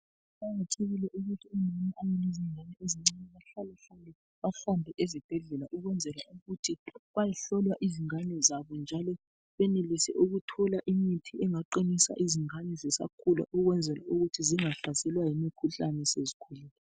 Kuqakathekile ukuthi omama abalezingane ezincane bahlalehlale bahambe ezibhedlela, ukwenzela ukuthi bayehlolwa izingane zabo njalo benelise ukuthola imithi engaqinisa izingane zisakhula ukwenzela ukuthi zingahlaselwa yimikhuhlane sezikhulile.